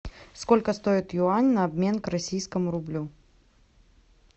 сколько стоит юань на обмен к российскому рублю